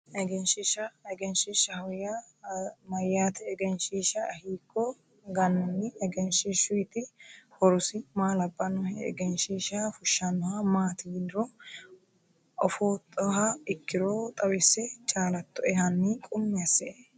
Eegenshiishsha egenshiishshaho yaa mayyaate egenshiishsha hiikko gannanni egenshiishshuyti horosi maa labbannohe egenshiishsha fushshannoha maati yinanniro ofoottoha ikkiro xawisse chaalattoe hanni qummi assie